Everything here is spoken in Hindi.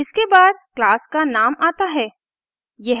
इसके बाद class का नाम आता है